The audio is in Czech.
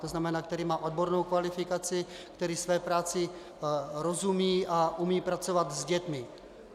To znamená, který má odbornou kvalifikaci, který své práci rozumí a umí pracovat s dětmi.